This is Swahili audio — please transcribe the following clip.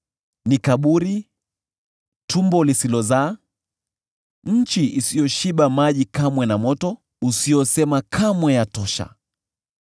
Ni kaburi, tumbo lisilozaa, nchi isiyoshiba maji kamwe, na moto, usiosema kamwe, ‘Yatosha!’